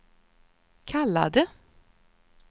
kallade